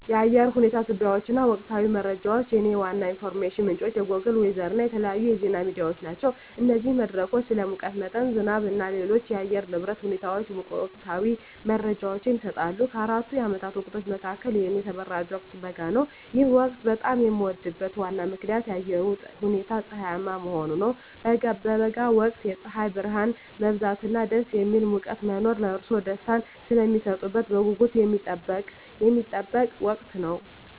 ለአየር ሁኔታ ትንበያዎች እና ወቅታዊ መረጃዎች፣ የእኔ ዋና የኢንፎርሜሽን ምንጮች ጎግል ዌዘር እና የተለያዩ የዜና ሚዲያዎች ናቸው። እነዚህ መድረኮች ስለ ሙቀት መጠን፣ ዝናብ እና ሌሎች የአየር ንብረት ሁኔታዎች ወቅታዊ መረጃዎችን ይሰጣሉ። ከአራቱ የዓመት ወቅቶች መካከል፣ የእኔ ተመራጭ ወቅት በጋ ነው። ይህ ወቅት በጣም የሚወደድበት ዋና ምክንያት የአየሩ ሁኔታ ፀሐያማ መሆኑ ነው። በበጋ ወቅት የፀሐይ ብርሃን መብዛት እና ደስ የሚል ሙቀት መኖር ለእርስዎ ደስታን ስለሚሰጡት በጉጉት የሚጠበቅ ወቅት ነው።